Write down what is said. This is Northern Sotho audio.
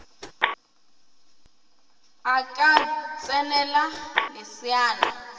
a ka ts enela leseana